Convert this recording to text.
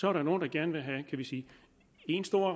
er der nogle der gerne vil have én stor